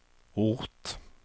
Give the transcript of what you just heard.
ort